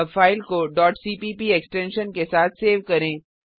अब फाइल को cpp extension के साथ सेव करें